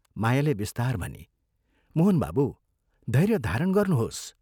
" मायाले बिस्तार भनी, " मोहन बाबू, धैर्य धारण गर्नुहोस्।